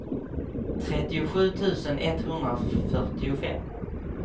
trettiosju tusen etthundrafyrtiofem